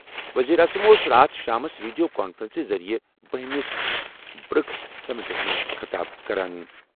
ؤزیٖرِ اعظم اوس راتھ شامَس ویڈیو کانفرنسہِ ذٔریعہٕ 12 ہِمِس برکس سمٹَس منٛز خطاب کران۔